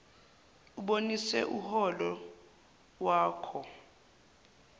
ubonise uholo wakho